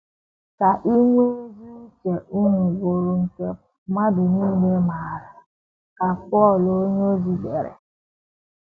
“ Ka inwe ezi uche unu bụrụ nke mmadụ nile maara, ” ka Pọl onyeozi dere.